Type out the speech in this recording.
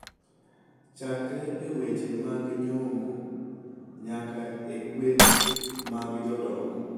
Chakre e weche mag nyombo nyaka e gueth mag jodongo,